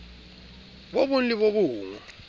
bo bong le bo bong